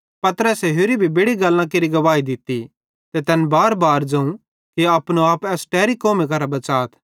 पतरसे होरि भी बेड़ि गल्लां केरि गवाही दित्ती ते तैन बारबार ज़ोवं कि अपनो आप एस टैरी कौमी करां बच़ात